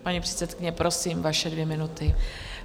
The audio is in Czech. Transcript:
Paní předsedkyně, prosím, vaše dvě minuty.